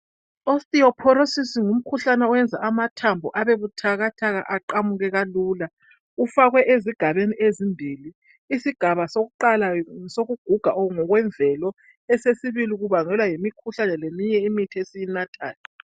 I- Osteoporosis ngumkhuhlane owenza amathambo abe buthakathaka aqamuke kalula. Ufakwe ezigabeni ezimbili. Isigaba sokuqala ngesokuguga ngokwemvelo, okwesibili kubangelwa yimikhuhlane leminye imithi esiyinathayo.